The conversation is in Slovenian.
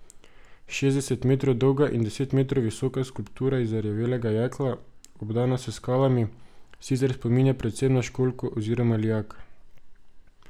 Šestdeset metrov dolga in deset metrov visoka skulptura iz zarjavelega jekla, obdana s skalami, sicer spominja predvsem na školjko oziroma lijak.